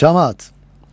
Camaat!